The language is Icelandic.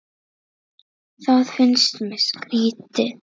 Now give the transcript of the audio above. Það finnst mér skrýtið